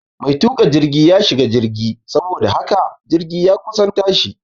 Mai tuka jirgi ya shiga jirgi saboda haka jirgi ya kusan tashi